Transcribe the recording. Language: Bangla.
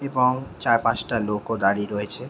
এবং চার পাঁচটা লোকও দাঁড়িয়ে রয়েছে।